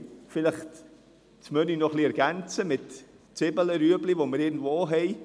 Vielleicht ergänzen wir das Menü noch mit Zwiebeln und Karotten, die wir irgendwo haben.